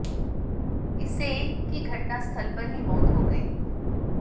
इससे एक की घटनास्थल पर ही मौत हो गई